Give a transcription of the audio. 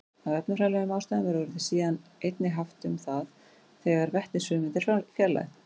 Af efnafræðilegum ástæðum er orðið síðan einnig haft um það þegar vetnisfrumeind er fjarlægð.